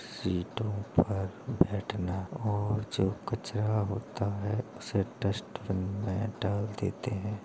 सीटों पर बैठना और जो कचरा होता हैँ उसे डस्टबिन में डाल देते हैँ।